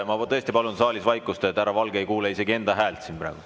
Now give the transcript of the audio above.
Aga ma tõesti palun saalis vaikust, sest härra Valge ei kuule isegi enda häält siin praegu.